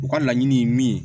U ka laɲini ye min ye